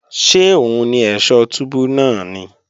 Ṣé òun ni ẹ̀ṣọ̀ túbú náà ni?